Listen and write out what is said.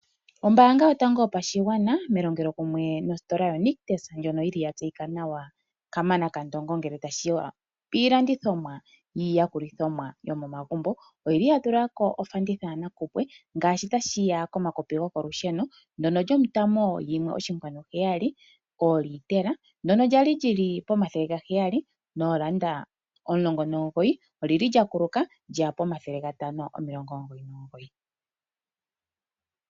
Ombaanga yotango yopashigwana melongelo kumwe nositola yoNictus ndjono ya tseyika nawa ngeke tashiya piilandithomwa yomomagumbo oyili ya tulamo ofanditha yanakuowe ngaashi yomakopi gokolusheno ndyono lyolitela 1,7 lyali lyina N$ 719 paife olyakuluka kteya N$599.